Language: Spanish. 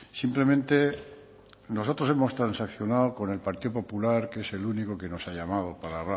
simplemente nosotros hemos transaccionado con el partido popular que es el único que nos ha llamado para